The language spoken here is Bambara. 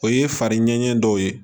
O ye fari ɲɛɲɛ dɔw ye